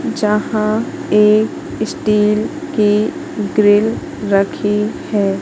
जहां एक स्टील की ग्रिल रखी है।